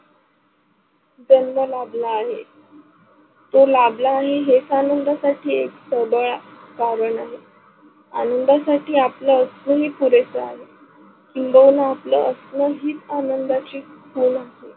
गंध लाबला आहे तो लाबला आहे, हेच आनंदासाठी एक सबळ कारण आहे. आनंदासाठी असणं हि पुरेसा आहे किंबहुना आपला असणं हीच आनंदाची खून आहे.